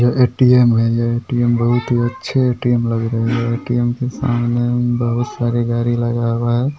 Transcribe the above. ये ए.टी.एम. है ये ए.टी.एम. बहुत ही अच्छे ए.टी.एम. लग रहे हैं ये ए.टी.एम. के सामने बहुत सारे गाड़ी लगा हुआ है।